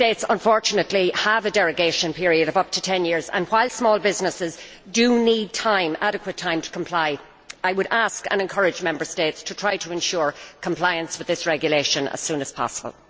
Unfortunately, Member States have a derogation period of up to ten years and, while small businesses do need adequate time to comply, I would ask and encourage Member States to try to ensure compliance with this regulation as soon as possible.